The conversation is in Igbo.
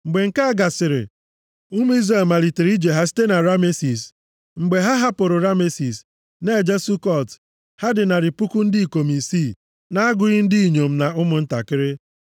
Mgbe nke a gasịrị, ụmụ Izrel malitere ije ha site na Ramesis. Mgbe ha hapụrụ Ramesis, na-eje Sukọt, ha dị narị puku ndị ikom isii, na-agụghị ndị inyom na ụmụntakịrị.